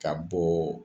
Ka bɔ